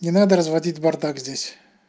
не надо разводить бардак здесь